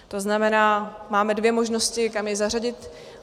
To znamená, máme dvě možnosti, kam jej zařadit.